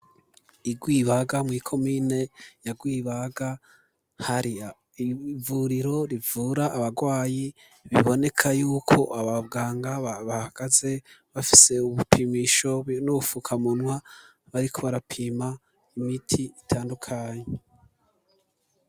Igwibaga mu ikomine ya gwibaga, hari ivuriro rivura abagwayi, biboneka yuko abaganga bahagaze ,bafise ubupimisho nubufukamunwa, bari kobarapima imiti itandukanye.